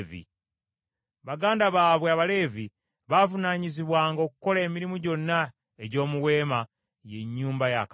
Baganda baabwe Abaleevi baavunaanyizibwanga okukola emirimu gyonna egy’omu Weema, ye Nnyumba ya Katonda.